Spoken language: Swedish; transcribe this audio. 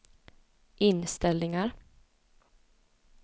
inställningar